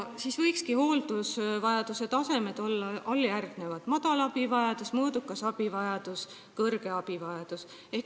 Hooldusvajaduse tasemed võiksid olla järgmised: madal, mõõdukas ja kõrge abivajadus.